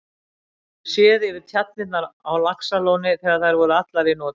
Séð yfir tjarnirnar á Laxalóni þegar þær voru allar í notkun.